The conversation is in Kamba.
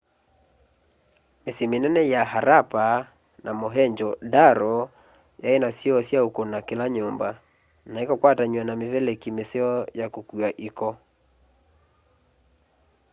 mĩsyĩ mĩnene ya harappa na mohenjo-daro yaĩna syoo sya ũkũna kĩla nyũmba na ĩkakwatanywa na mĩvelekĩ mĩseo ya kũkũa ĩko